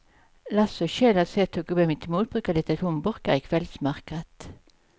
Lasse och Kjell har sett hur gubben mittemot brukar leta tomburkar i kvällsmörkret.